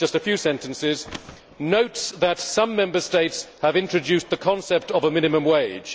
it is just a few sentences Notes that some Member States have introduced the concept of a minimum wage